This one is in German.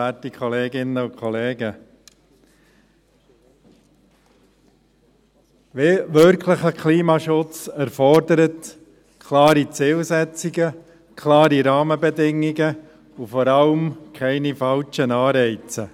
Wirklicher Klimaschutz erfordert klare Zielsetzungen, klare Rahmenbedingungen und vor allem keine falschen Anreize.